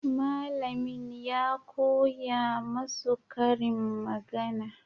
Malamin ya koya masu karin magana.